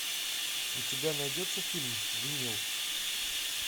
у тебя найдется фильм винил